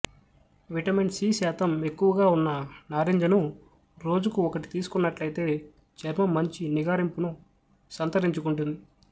vitamin C శాతం ఎక్కువగా ఉన్న నారింజను రోజుకు ఒకటి తీసుకున్నట్లయితే చర్మం మంచి నిగారింపును సంతరించుకుంటుంది